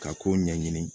Ka kow ɲɛɲini